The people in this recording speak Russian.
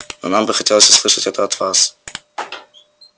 но нам бы хотелось услышать это от вас